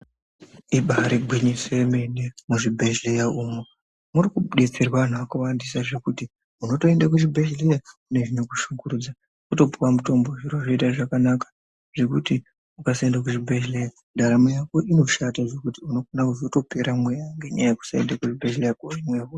Ibariwinyiso yemene muzvibhedhlera umo murikubetserwa antu akawanda zvekuti unotoenda kuchibhedhlera uine zvinokushingurudza wotopiwa mutombo wotoita zvakanaka nekuti ukasaenda kuchibhedhlera ndaramo yako inoshanda zvekuti unogona kuzotopera mweya .